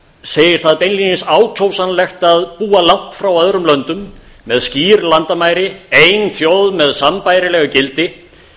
segir það beinlínis ákjósanlegt að búa langt frá öðrum löndum með skýr landamæri ein þjóð með sambærileg gildi